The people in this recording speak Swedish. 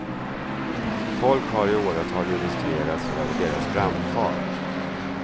Folk har i åratal irriterats över deras framfart.